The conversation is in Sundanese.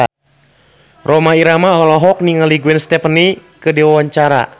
Rhoma Irama olohok ningali Gwen Stefani keur diwawancara